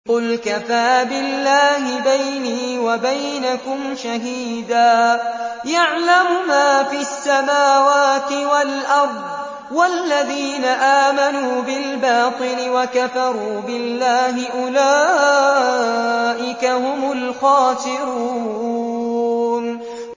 قُلْ كَفَىٰ بِاللَّهِ بَيْنِي وَبَيْنَكُمْ شَهِيدًا ۖ يَعْلَمُ مَا فِي السَّمَاوَاتِ وَالْأَرْضِ ۗ وَالَّذِينَ آمَنُوا بِالْبَاطِلِ وَكَفَرُوا بِاللَّهِ أُولَٰئِكَ هُمُ الْخَاسِرُونَ